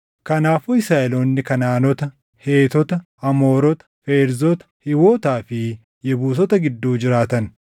Kanaafuu Israaʼeloonni Kanaʼaanota, Heetota, Amoorota, Feerzota, Hiiwotaa fi Yebuusota gidduu jiraatan.